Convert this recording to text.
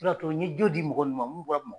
U de y'a to n ɲe jo di mɔgɔ nunnu ma mun bɔra Bamakɔ